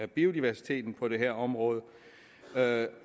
biodiversiteten på det her område